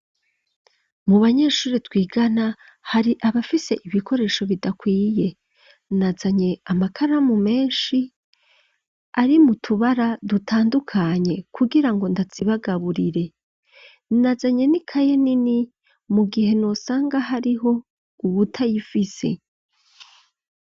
Mu banyeshure twigana, hari abafise ibikoresho bidakwiye; nazanye amakaramu, menshi, ari mu tubara dutandukanye, kugira ngo ndazibagaburire; nazanye n'ikaye nini, mu gihe nosanga, hariho uwutayifise.